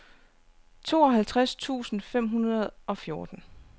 tooghalvtreds tusind fem hundrede og fjorten